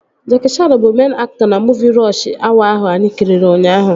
Jackie Chaan bụ meịn aktọ na muuvi Rọsh Awa ahụ anyị kiri ụnyaahụ